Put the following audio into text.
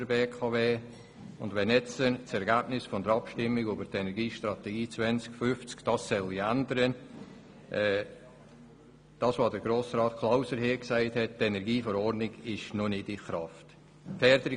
Wenn man nun einwendet, das Ergebnis der Abstimmung über die Energiestrategie 2050 werde diese Sachlage ändern, muss ich darauf hinweisen, dass die Verordnung dazu noch nicht in Kraft ist.